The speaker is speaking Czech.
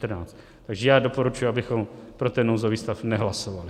Takže já doporučuji, abychom pro ten nouzový stav nehlasovali.